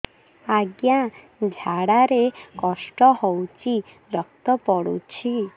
ଅଜ୍ଞା ଝାଡା ରେ କଷ୍ଟ ହଉଚି ରକ୍ତ ପଡୁଛି